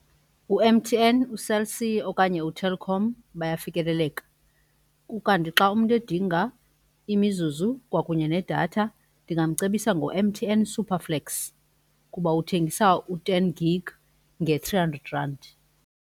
U-M_T_N, uCell C okanye uTelkom bayafikeleleka, ukanti xa umntu edinga imizuzu kwakunye nedatha ndingamcebisa ngo-M_T_N SuperFlex kuba uthengisa u-ten gig nge-three hundred rand.